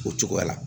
O cogoya la